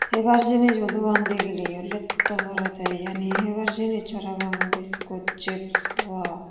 hebar jinijo dogan degileyo letto porede iyaniyo hebar jinis parapang biscuit chips wao.